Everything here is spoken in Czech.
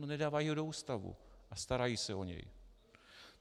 No, nedávají ho do ústavu a starají se o něj.